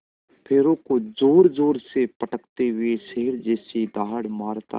पैरों को ज़ोरज़ोर से पटकते हुए शेर जैसी दहाड़ मारता है